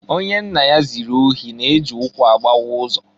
Onye nna ya ziri ohi na-e ji ụkwụ agbawa ụzọ.